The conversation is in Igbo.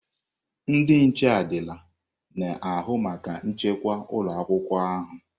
Ndị nche adịla na-ahụ maka nchekwa ụlọ akwụkwọ ahụ.